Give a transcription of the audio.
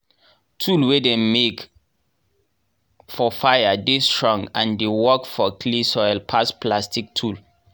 tool wey dem make for fire dey strong and dey work for clay soil pass plastic tool.